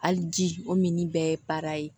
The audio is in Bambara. Hali ji o mini bɛɛ ye ye